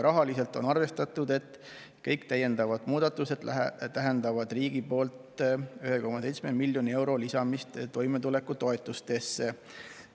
Rahaliselt on arvestatud, et kõik täiendavad muudatused tähendavad riigi poolt 1,7 miljoni euro lisamist toimetulekutoetustesse.